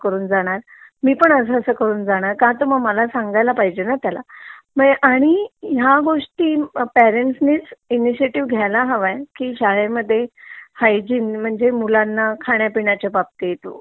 करून जाणार मी पण असा करून जणणार का तर मला सांगायला पाहिजे ना त्याला आणि ह्या गोष्टी पेरेंट्स नेच इनशियाटीव घ्यायला हवंय की शाळेमध्ये हयजिन म्हणजे मुलांना खाण्या पिण्याच्या बाबतीत ,